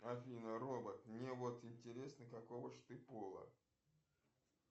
афина робот мне вот интересно какого ж ты пола